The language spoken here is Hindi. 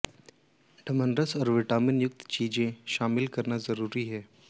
डमनरल्स और विटामिंस युक्त चीजें शामिल करना जरूरी है